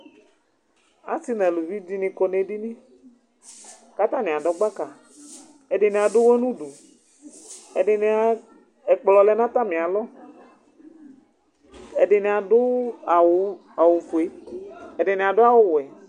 Asi nu aluvi di ni kɔ nu edini , ku ata ni adu gbaka , ɛdini adu uwɔ nu udu, ɛdini ɛkplɔ lɛ nu ata mi alɔ , ɛdini adu awu, awu fue, ɛdini adu awu wɛ